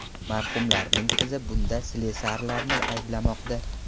Marhumlarning qizi bunda slesarlarni ayblamoqda.